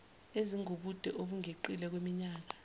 ezingubude obungeqile kwiminyaka